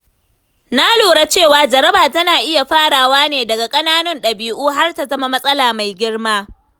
Na lura cewa jaraba tana iya farawa ne daga ƙananan dabi’u har ta zama matsala mai girma.